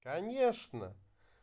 конечно